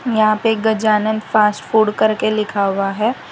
यहां पे एक गजानन फास्ट फूड करके लिखा हुआ है।